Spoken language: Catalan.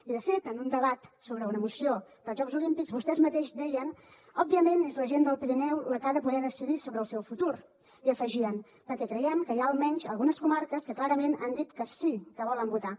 i de fet en un debat sobre una moció dels jocs olímpics vostès mateixos deien òbviament és la gent del pirineu la que ha de poder decidir sobre el seu futur i hi afegien perquè creiem que hi ha almenys algunes comarques que clarament han dit que sí que volen votar